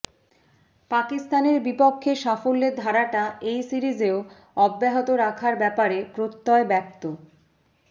পাকিস্তানের বিপক্ষে সাফল্যের ধারাটা এই সিরিজেও অব্যাহত রাখার ব্যাপারে প্রত্যয় ব্যক্ত